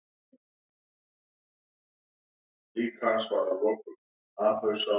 Þessi uppsafnaða fita er því í raun ekkert annað en geymsla á umframorku.